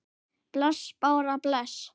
Bless Blár, bless.